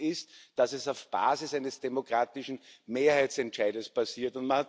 Faktum ist, dass es auf Basis eines demokratischen Mehrheitsentscheides passiert.